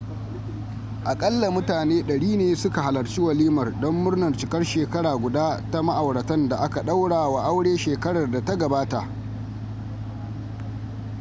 aƙalla mutane 100 ne suka halarci walimar don murnar cikar shekara guda ta ma'auratan da aka ɗaura wa aure shekarar da ta gabata